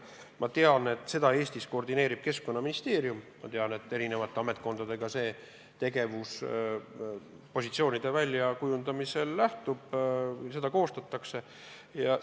Ma tean, et Eestis koordineerib seda Keskkonnaministeerium, aga positsioonide väljakujundamisel tehakse koostööd eri ametkondadega.